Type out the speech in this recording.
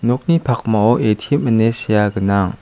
nokni pakmao A_T_M ine sea gnang.